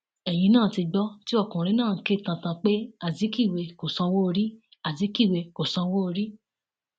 ẹyìn náà ti gbọ tí ọkùnrin náà ń ké tantan pé azikiwe kò sanwóorí azikiwe kò sanwóorí